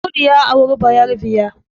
Audu ya auri bayerabiya